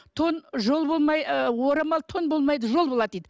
тон жол болмай ы орамал тон болмайды жол болады дейді